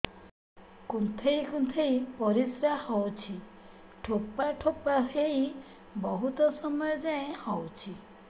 କୁନ୍ଥେଇ କୁନ୍ଥେଇ ପରିଶ୍ରା ହଉଛି ଠୋପା ଠୋପା ହେଇ ବହୁତ ସମୟ ଯାଏ ହଉଛି